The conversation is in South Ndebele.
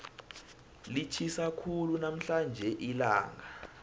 litjhisa khulu namhlanje ilanga